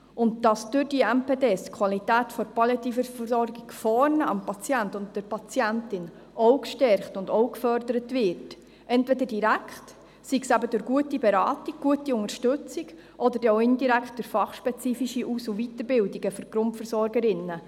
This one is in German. Wir dürfen auch nicht vergessen, dass durch diese MPD die Qualität der Palliativversorgung am Patienten und an der Patientin vor Ort auch gestärkt und gefördert wird, sei es direkt durch gute Beratung und gute Unterstützung, oder indirekt durch fachspezifische Aus- und Weiterbildungen für die Grundversorgerinnen.